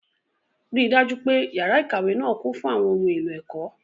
Rí i dájú pé yàrá ìkàwé náà kún fún àwọn ohun èlò ẹ̀kọ́.